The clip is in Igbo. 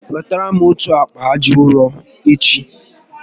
Wetara m otu akpa aja ụrọ echi